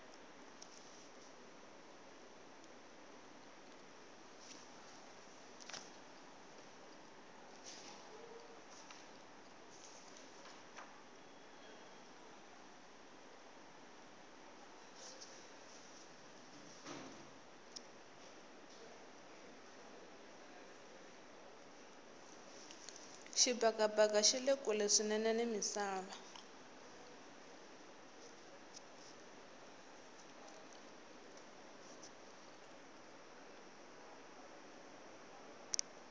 xibakabaka xile kule swinene ni misava